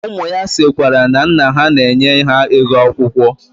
Umu ya sikwara na nna ha na-enye ha ego akwukwo.